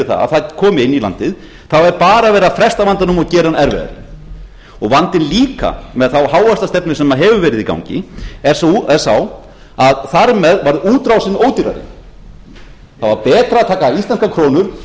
það að það komi inn í landið er bara verið að fresta vandanum og gera hann erfiðari vandinn líka með þá hávaxtastefnu sem hefur verið í gangi er sá að þar með varð útrásin ódýrari það var betra að taka íslenskar krónur